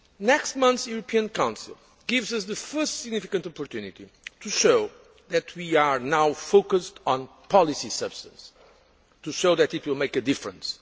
Next month, the European Council gives us the first significant opportunity to show that we are now focused on policy substance, to show that it will make a difference.